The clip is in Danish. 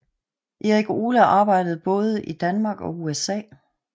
Erik Ole arbejdede både i Danmark og USA